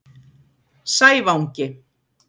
Sævangi